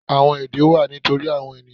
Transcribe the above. Àwọn èdè wà nítorí àwon ènìyàn